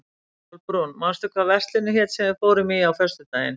Kolbrún, manstu hvað verslunin hét sem við fórum í á föstudaginn?